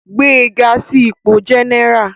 Gbé e ga sí ipò jẹ́nẹ́rà